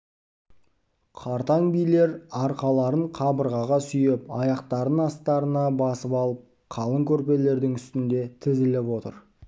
қартаң билер арқаларын қабырғаға сүйеп аяқтарын астарына басып алып қалың көрпелердің үстінде тізіліп отыр